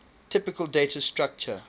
typical data structure